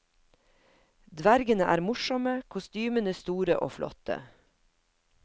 Dvergene er morsomme, kostymene store og flotte.